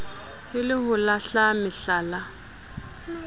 e le ho lahla mehlala